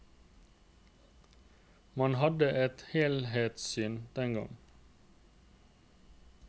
Man hadde et helhetssyn den gang.